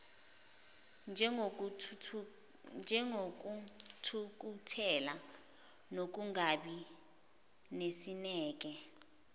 njengokuthukuthela nokungabi nesineke